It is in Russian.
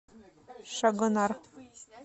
шагонар